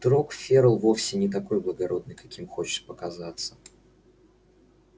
вдруг ферл вовсе не такой благородный каким хочет показаться